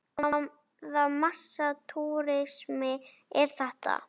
Hvaða massa túrismi er þetta?